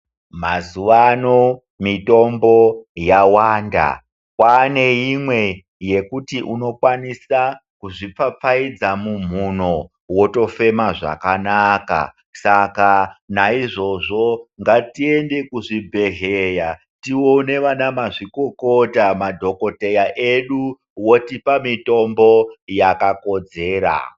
Mazuaano ,mitombo yawanda kwaane imwe yekuti unokwanisa kuzvipfapfaidza mumhuno wotofema zvakanaka .Saka naizvozvo ngatiende kuzvibhedlera tiwone vana mazvikokota ,madhogodheya edu votipa mitombo yakakodzera.